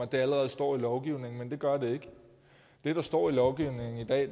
det allerede står i lovgivningen men det gør det ikke det der står i lovgivningen i dag